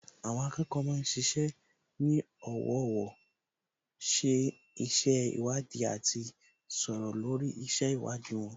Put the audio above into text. Àwọn akẹ́kọ̀ọ́ ma ń ṣiṣẹ́ ní ọ̀wọ̀ọ̀wọ́, ṣe iṣẹ́ ìwádìí àti sọ̀rọ̀ lórí iṣẹ́ ìwádìí wọn